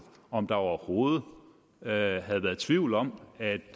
om der overhovedet havde været tvivl om at